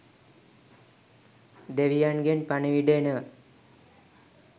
දෙවියන්ගෙන් පණිවිඩ එනව